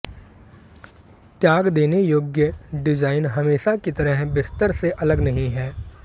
त्याग देने योग्य डिजाइन हमेशा की तरह बिस्तर से अलग नहीं है